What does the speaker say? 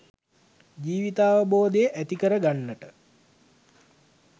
ජීවිතාවබෝධය ඇති කරගන්නට.